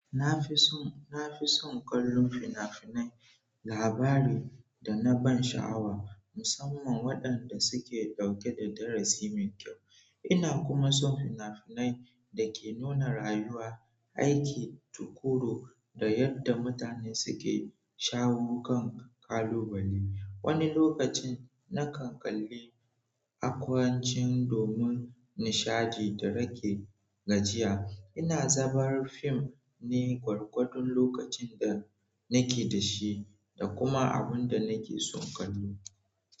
Na fi son, na fi son kallon fina-finai labari da na ban sha'awa musamman waɗanda suke ɗauke da darasi mai kyau. Ina kuma son fina-finai da ke nuna rayuwa, aiki, tukuru da yadda mutane suke shawo kan ƙalubale. Wani lokacin na kan kalli akwancin domin nishaɗi da rage gajiya. Ina zabar fim ne gwargwadon lokacin da nake da shi da kuma abun da nake son kallo.